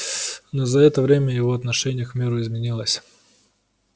но за это время его отношение к миру изменилось